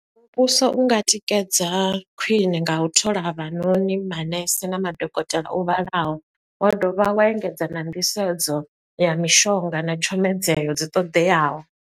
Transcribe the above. Muvhuso unga tikedza khwiṋe nga u thola havhanoni manese na madokotela o vhalaho, wa dovha wa engedza na nḓisedzo ya mishonga na tshomedzeho dzi ṱoḓeaho.